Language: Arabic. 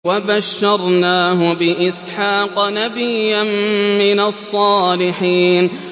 وَبَشَّرْنَاهُ بِإِسْحَاقَ نَبِيًّا مِّنَ الصَّالِحِينَ